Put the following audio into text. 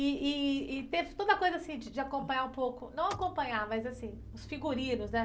E e, e teve toda coisa assim de de acompanhar um pouco, não acompanhar, mas assim, os figurinos, né?